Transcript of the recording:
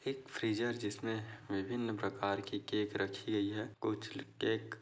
एक फ्रिझर जिसमे विभिन्न प्रकार की केक राखी गई है कुछ केक --